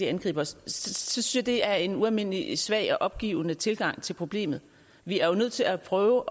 angriber os synes jeg det er en ualmindelig svag og opgivende tilgang til problemet vi er jo nødt til at prøve